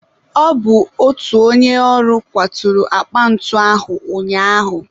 Ọ bụ otu onye ọrụ kwaturu akpa ntu ahụ ụnyaahụ.